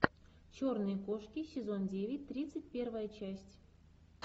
черные кошки сезон девять тридцать первая часть